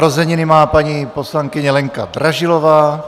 Narozeniny má paní poslankyně Lenka Dražilová.